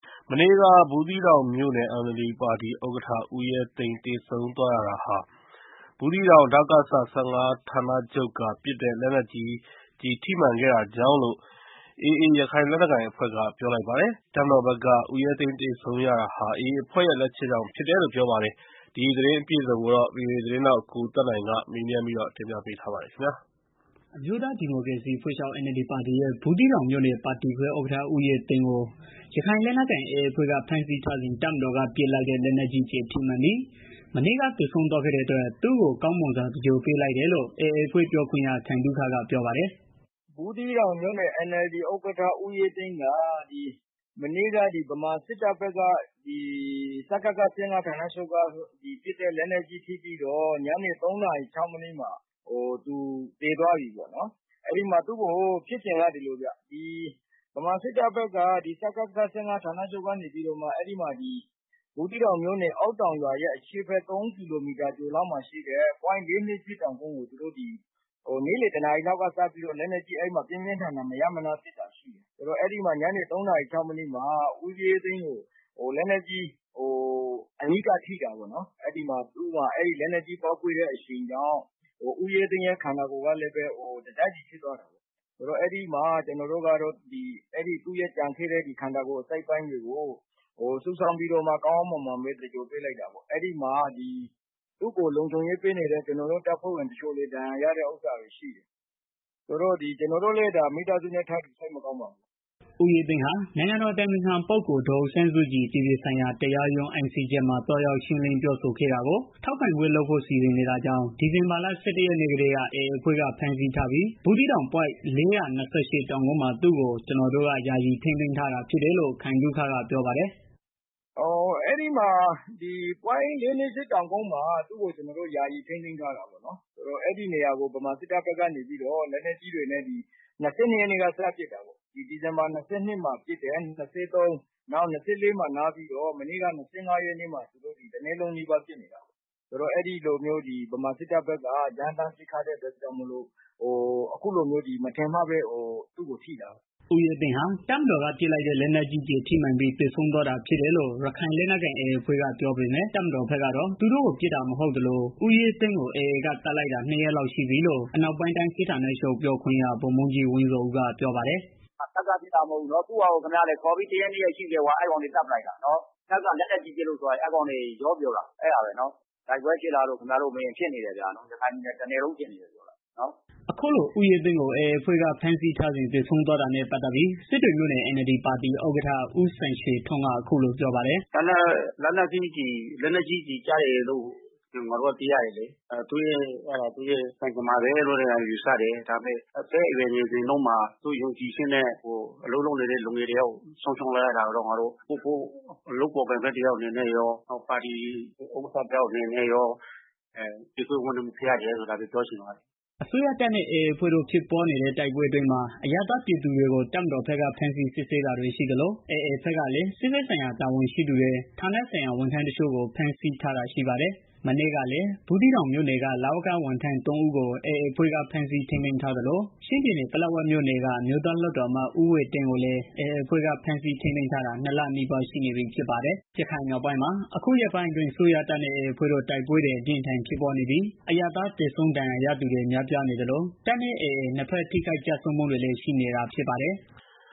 မနေ့က ဘူသီးတောင်မြို့နယ် NLD ပါတီ ဥက္ကဋ္ဌ ဦးရဲသိန်း သေဆုံးသွားရတာဟာ ဘူးသီးတောင် ဒကစ ၁၅ ဌာန ချုပ်က ပစ်တဲ့ လက်နက်ကြီး ကျည်ထိမှန်ခဲ့တာကြောင့်လို့ ရခိုင်လက်နက်ကိုင် AA အဖွဲ့က ပြောပါတယ်။ တပ်မတော်ဘက်ကတော့ ဦးရဲသိန်း သေဆုံးရတာဟာ AA အဖွဲ့ ရဲ့ လက်ချက်ကြောင့် ဖြစ်ကြောင်း ပြောပါတယ်။ ဒီသတင်းအပြည့်အစုံကို ဗွီအိုအေ သတင်းထောက် ကိုသက်နိုင်က မေးမြန်းတင်ပြထားပါတယ်။ အမျိုးသားဒီမိုကရေစီအဖွဲ့ချုပ် NLD ပါတီရဲ့ ဘူးသီးတောင်မြို့နယ် ပါတီခွဲ ဥက္ကဋ္ဌ ဦးရဲသိန်းကို ရခိုင်လက်နက် ကိုင် AA အဖွဲ့က ဖမ်းဆီးထားစဉ် တပ်မတော်က ပစ်လိုက်တဲ့ လက်နက်ကြီး ကျည်ထိမှန်ပြီး မနေ့က သေဆုံးသွားခဲ့တဲ့အတွက် သူတို့ ကောင်းမွန်စွာ သင်္ဂြ ိုလ်ပေးလိုက်တယ်လို့ AA အဖွဲ့ ပြောခွင့်ရ ခိုင်သုခက ပြောပါတယ်။ "ဘူးသီးတောင် NLD ဥက္ကဋ္ဌ ဦးရဲသိန်းက မနေ့က ဗမာစစ်တပ်ဘက်က ဒကစ ၁၅ ဌာနချုပ်က ပစ်တဲ့ လက်နက်ကြီး ကျည် ထိပြီးတော့ ညနေ ၃ နာရီလောက်မှာ သူသေသွားတယ်။ ဖြစ်စဉ်က ဒီလိုဗျာ ဗမာစစ်တပ်ဘက်က ဒကစ ၁၅ ဌာနချုပ်က ဘူးသီးတောင် မြို့နယ် အောက်တောင်ရွာရဲ့ အရှေ့ဘက် ၃ ကီလိုမီတာအကွာ ပွိုင့် ၄၂၈ တောင်ကုန်း ကို သူတို့ နေ့လည် တစ်နာရီလောက်က စပြီးတော့ လက်နက်ကြီး ပြင်းပြင်းထန်ထန် မရပ်မနား ပစ်တာရှိတယ်။ ညနေ ၆ နာရီလောက်မှာ ဦးရဲသိန်း ကို လက်နက်ကြီး အနီးကပ်ထိတာ ပေါ့နော်။ လက်နက်ကြီး အရှိန်ကြောင့် ဦးရဲသိန်းရဲ့ ခန္ဒာကိုယ်ကလည်း တစ်စစီဖြစ်သွားတယ်။ ကျနော်တို့ကတော့ သူရဲ့ ကျန်ခဲ့တဲ့ ခန္ဒကိုယ် အစိတ်အပိုင်းတွေကို စုဆောင်းပြီးတော့ ကောင်းကောင်းမွန်မွန် သင်္ဂြ ိုလ် ပေးလိုက်တာပေါ့။ သူကို လုံခြုံရေးပေးနေတဲ့ ကျနော်တို့ တပ်ဖွဲ့ဝင် တချို့လည်း ဒဏ်ရာရတာ ရှိတယ်။ ကျနော်တို့လည်း မိသားစုနဲ့ ထပ်တူ စိတ်မကောင်း ဖြစ်ရပါတယ်။" ဦးရဲသိန်းဟာ နိုင်ငံတော် အတိုင်ပင်ခံပုဂ္ဂိုလ် ဒေါ်အောင်ဆန်းစုကြည် အပြည်ပြည်ဆိုင်ရာ တရားရုံး ICJ မှာ သွားရောက် ရှင်းလင်းပြောဆိုတာကို ထောက်ခံပွဲ လုပ်ဖို့ စီစဉ်နေတာကြောင့် ဒီဇင်ဘာလ ၁၁ ရက်နေ့ကတည်းက AA အဖွဲ့က ဖမ်းဆီးပြီး ဘူးသီးတောင် ပွိုင့် ၄၂၈ တောင်ကုန်းမှာ သူ့ကို ကျနော်တို့က ယာယီထိန်းသိမ်းထား တာဖြစ်တယ်လို့ ခိုင်သုခကပြောပါတယ်။ "ဘူးသီးတောင် ပွိုင့် ၄၂၈ တောင်ကုန်းမှာ သူ့ကို ကျနော်တို့က ယာယီထိန်းသိမ်းထားတာ အဲဒီနေရာကို ဗမာစစ်တပ်ဘက်က နေပြီးတော့ လက်နက်ကြီးတွေနဲ့ ၂၂ရက်ကနေပြီးတော့ ပစ်တယ်။ ၂၃ ပစ်တယ်။ ၂၄ နားတယ်။ မနေ့က ၂၅ ရက်နေ့မှာ တနေ့လုံးနီးပါး ပစ်နေတယ်။ ဗမာစစ်တပ်ဘက်က ရမ်းသန်း ပစ်ခတ်တဲ့ အတွက် မထင်မှတ်ပဲ သူတို့ထိတာပေါ့နော်။" ဦးရဲသိန်းဟာ တပ်မတော်က ပစ်လိုက်တဲ့ လက်နက်ကြီးကျည် ထိမှန်ပြီး သေဆုံးသွားတာ ဖြစ်တယ်လို့ ရခိုက်လက်နက်ကိုင် AA အဖွဲ့က ပြောပေမဲ့ တပ်မတော်ဘက် ကတော့ သူတို့ပစ်တာ မဟုတ်သလို ဦးရဲသိန်းကို AA က သတ်လိုက်တာ နှစ်ရက်လောက် ရှိပြီလို့ အနောက်ပိုင်းတိုင်း စစ်ဌာနချုပ် ပြောခွင့်ရ ဗိုလ်မှူးကြီးဝင်းဇော်ဦးက ပြောပါတယ်။ "ဒါတပ်က ပစ်တာကြောင့် မဟုတ်ဘူး။ ခေါ်ပြီးတရက် နှစ်ရက်ရှိနေပြီ အဲအကောင်တွေ သတ်ပလိုက်တာ။ တပ်က လက်နက်ကြီး ပစ်လို့သေတယ်ဆိုတာ အဲအကောင်တွေ ရောပြောတာ။ တိုက်ပွဲဖြစ်လားဆိုတော့ ဖြစ်နေ တယ်ဗျာ။ ရခိုင် တပြည်နယ်လုံးဖြစ်နေတာ။" အခုလို ဦးရဲသိန်းကို AA အဖွဲ့က ဖမ်းဆီးထားစဉ် သေဆုံးသွားတာနဲ့ ပတ်သတ်ပြီး စစ်တွေမြို့နယ် NLD ပါတီ ဥက္ကဋ္ဌ ဦးစံရွှေထွန်းက အခုလိုပြောပါတယ်။ "လက်နက်ကြီး ကျည်ကျပြီးတော့ သေတယ်လို့ ငါတို့ က သိရတယ်လေ။ ဒါက သူ့ရဲ့ ကံကြမ္မာပဲလို့ ပြောရမယ်။ ဒါပေမဲ့ အသက်အရွယ် ငယ်စဉ်တုန်းမှာ သူ့ယုံကြည်ချက်နဲ့ အလုပ်လုပ်နေတဲ့ သူတစ်ယောက်ကို ဆုံးရှုံးလိုက်ရတာကတော့ ငါတို့ လုပ်ဖော်ကိုင်ဖက် တယောက်အနေနဲ့ရော ပါတီဥက္ကဋ္ဌ တစ်ယောက်အနေနဲ့ရော ကြေကွဲဝမ်းနည်းရပါတယ် ဒါပဲပြောချင်ပါတယ်။" အစိုးရတပ်နဲ့ AA အဖွဲ့တို့ ဖြစ်ပွားနေတဲ့ တိုက်ပွဲအတွင်းမှာ အရပ်သားပြည်သူတွေကို တပ်မတော်ဘက်က ဖမ်းဆီးစစ်ဆေးနေတာတွေ ရှိသလို AA ဘက်ကလည်း စစ်ဘက်ဆိုင်ရာ တာဝန်ရှိသူတွေ ဌာနဆိုင်ရာ ဝန်ထမ်းတချို့ကို ဖမ်းဆီးထားတာ ရှိပါတယ်။ မနေ့ကလည်း ဘူးသီးတောင်မြို့နယ်က လဝက ဝန်ထမ်း ၃ ဦးကို AA အဖွဲ့က ဖမ်းဆီးထိန်းသိမ်းထားသလို ချင်းပြည်နယ် ပလက်ဝမြို့နယ်က အမျိုးသား လွှတ်တော်အမတ် ဦးဝှေ့တင်းကိုလည်း AA အဖွဲ့က ဖမ်းဆီး ထိန်းသိမ်းထားတာ ၂ လနီးပါး ရှိနေပြီ ဖြစ်ပါတယ်။ ရခိုင်မြောက်ပိုင်းမှာ အခုရက်ပိုင်းအတွင်း အစိုးရတပ်နဲ့ AA အဖွဲ့တို့ တိုက်ပွဲတွေ အပြင်းအထန် ဖြစ်ပွားနေပြီး အရပ်သားသေဆုံး ဒဏ်ရာရသူတွေ များပြားနေသလို တပ်နဲ့ AA နှစ်ဘက် ထိခိုက်ဆုံးမှုတွေလည်း ရှိနေတာ ဖြစ်ပါတယ်။